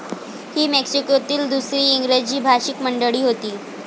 ही मेक्सिकोतील दुसरी इंग्रजी भाषिक मंडळी होती.